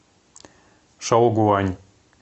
шаогуань